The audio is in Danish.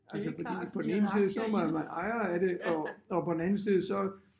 Altså fordi på den ene side så var man ejer af det og og på den anden side så